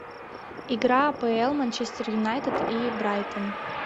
игра апл манчестер юнайтед и брайтон